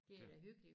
Det er da hyggelig